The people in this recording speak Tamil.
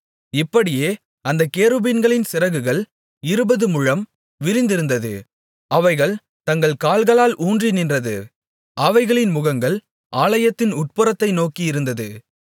இப்படியே அந்தக் கேருபீன்களின் சிறகுகள் இருபதுமுழம் விரிந்திருந்தது அவைகள் தங்கள் கால்களால் ஊன்றி நின்றது அவைகளின் முகங்கள் ஆலயத்தின் உட்புறத்தை நோக்கியிருந்தது